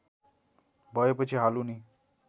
भएपछि हाल उनी